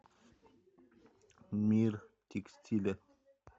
мир текстиля